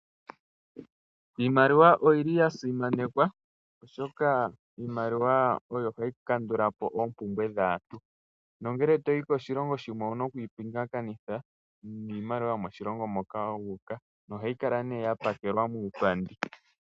Iimaliwa oyi li ya simanekwa oshoka iimaliwa oyo hayi kandula po oompumbwe dhaantu, nongele toyi koshilongo shimwe ouna okupingakanitha niimaliwa yomoshilongo moka wu uka nohayi kala nee ya pakelwa muupandi.